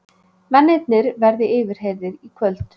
Mennirnir verði yfirheyrðir í kvöld